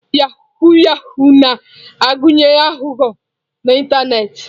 Yahoo Yahoo na-agụnye aghụghọ n'ịntanetị